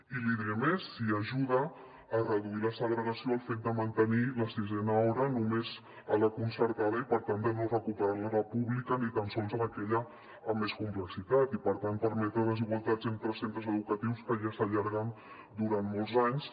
i l’hi diré més si ajuda a reduir la segregació el fet de mantenir la sisena hora només a la concertada i per tant de no recuperar la a la pública ni tan sols en aquella amb més complexitat i per tant permetre desigualtats entre centres educatius que ja s’allarguen durant molts anys